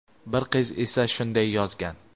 bir qiz esa shunday yozgan:.